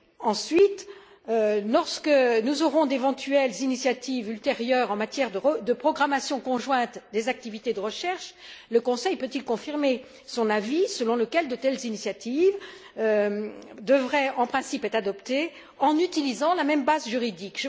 Ensuite, lorsque nous aurons d'éventuelles initiatives ultérieures en matière de programmation conjointe des activités de recherche, le Conseil peut il confirmer son avis selon lequel de telles initiatives devraient en principe être adoptées en utilisant la même base juridique?